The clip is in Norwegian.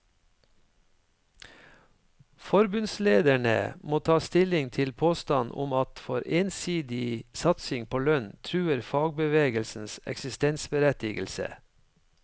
Forbundslederne må ta stilling til påstanden om at for ensidig satsing på lønn truer fagbevegelsens eksistensberettigelse.